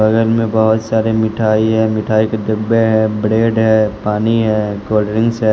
बगल में बहुत सारे मिठाई है मिठाई के डब्बे है ब्रेड है पानी है कोल्ड ड्रिंक्स है।